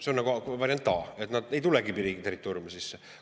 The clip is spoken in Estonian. See on nagu variant A, et nad ei tulegi riigi territooriumile sisse.